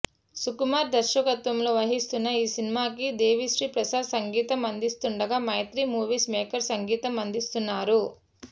సుకుమార్ దర్శకత్వంలో వస్తున్న ఈ సినిమాకి దేవిశ్రీ ప్రసాద్ సంగీతం అందిస్తుండగా మైత్రి మూవీ మేకర్స్ సంగీతం అందిస్తున్నారు